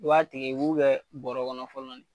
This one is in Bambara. I b'a tigɛ, i b'u kɛ bɔkɔnɔ fɔlɔ